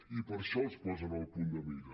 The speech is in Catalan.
i per això els posen en el punt de mira